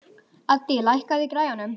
Addý, lækkaðu í græjunum.